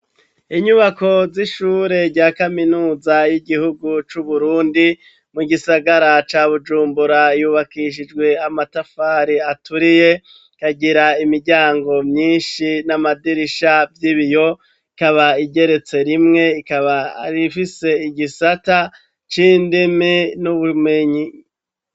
Inyubako z'ishure rya kaminuza y'igihugu c'uburundi, mu gisagara ca bujumbura yubakishijwe amatafari aturiye, kagira imiryango myinshi n'amadirisha y'ibiyo ikaba igeretse rimwe, ikaba rifise igisata c'indimi n'ubumenyi.